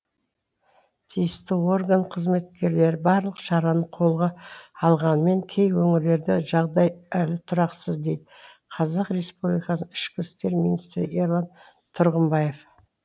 тиісті орган қызметкерлері барлық шараны қолға алғанымен кей өңірлерде жағдай әлі тұрақсыз дейді қазақ республикасының ішкі істер министрі ерлан тұрғымбаев